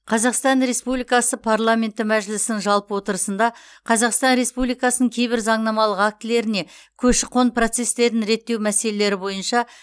қазақстан республикасы парламенті мәжілісінің жалпы отырысында қазақстан республикасының кейбір заңнамалық актілеріне көші қон процестерін реттеу мәселелері бойынша